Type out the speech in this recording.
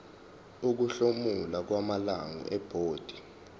ukuhlomula kwamalungu ebhodi